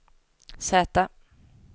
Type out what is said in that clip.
Z